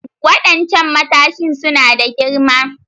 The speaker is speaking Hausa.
Waɗancan matashin suna da girma